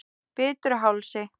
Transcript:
Bitruhálsi